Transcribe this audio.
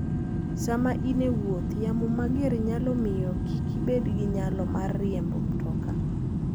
Sama in e wuoth, yamo mager nyalo miyo kik ibed gi nyalo mar riembo mtoka.